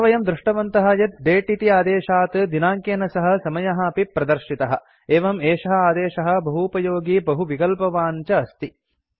अत्र वयं दृष्टवन्तः यत् दते इति आदेशात् दिनाङ्केन सह समयः अपि प्रदर्शितः एवम् एषः आदेशः बहूपयोगी बहुविकल्पवान् च अस्ति